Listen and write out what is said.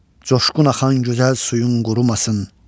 Coşqun axan gözəl suyun qurumasın.